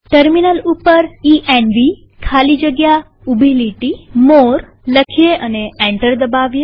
terminal ઉપર E N V ખાલી જગ્યા ઉભી લીટી મોરે લખીએ અને એન્ટર દબાવીએ